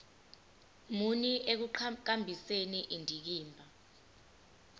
muni ekuqhakambiseni indikimba